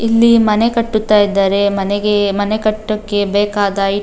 ಇಲ್ಲಿ ಮನೆ ಕಟ್ಟುತ್ತಾ ಇದ್ದಾರೆ ಮನೆಗೆ ಮನೆ ಕಟ್ಟಕ್ಕೆ ಬೇಕಾದ --